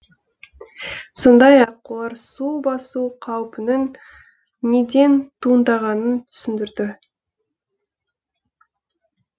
сондай ақ олар су басу қаупінің неден туындағанын түсіндірді